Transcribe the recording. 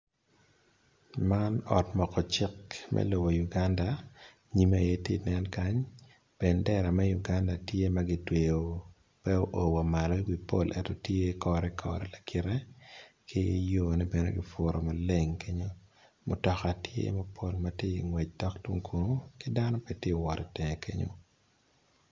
Man ot moko cik me lobo Uganda nyime aye tye nen kany bendera me Uganda tye magitweo me oo wa malo i wi pol ento tye ikore kore lakite ki yone bene kiputo maleng kenyo mutoka tye mapol matye ngec dok tung kun kidano bene tye wot kingete kenyo.